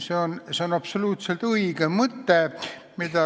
See on absoluutselt õige mõte, mille